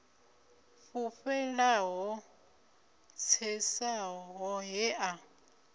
fhufhela ho tsesaho he a